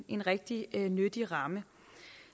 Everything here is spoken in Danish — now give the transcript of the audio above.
en rigtig nyttig ramme